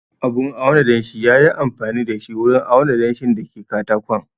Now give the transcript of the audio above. Abun auna danshi ya yi amfani da shi wurin auna danshin da ke katakon